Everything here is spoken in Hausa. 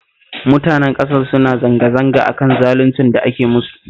Mutanen ƙasar suna zanga-zanga a kan zaluncin da ake musu